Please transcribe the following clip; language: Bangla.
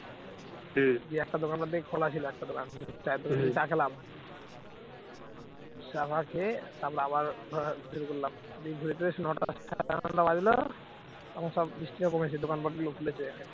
চা ফা খেয়ে তারপর আবার দিয়ে ঘুরে টুরে এসে নটা সাড়ে নটা বাজলো তখন সব বৃষ্টিও কমেছে, দোকানপাট গুলো খুলেছে